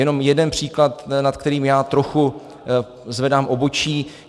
Jenom jeden příklad, nad kterým já trochu zvedám obočí.